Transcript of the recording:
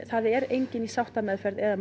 það er enginn í sáttameðferð eða